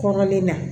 Kɔrɔlen na